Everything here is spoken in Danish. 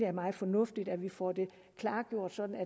er meget fornuftigt at vi får det klargjort sådan at